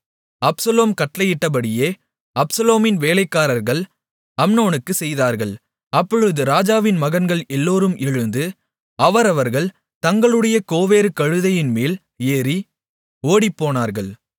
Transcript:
Absalom கட்டளையிட்டபடியே அப்சலோமின் வேலைக்காரர்கள் அம்னோனுக்குச் செய்தார்கள் அப்பொழுது ராஜாவின் மகன்கள் எல்லோரும் எழுந்து அவரவர்கள் தங்களுடைய கோவேறு கழுதையின்மேல் ஏறி ஓடிப்போனார்கள்